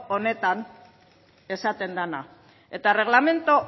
honetan esaten dena eta erregelamendu